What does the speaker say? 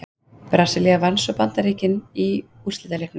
Brasilía vann svo Bandaríkin í úrslitaleiknum.